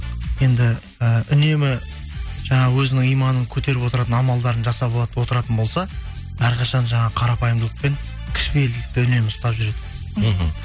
енді і үнемі жаңағы өзінің иманын көтеріп отыратын амалдарын жасап алады отыратын болса әрқашан жаңағы қарапайымдылық пен кішіпейілдікті үнемі ұстап жүреді мхм